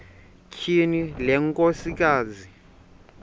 tyhini le nkosikazi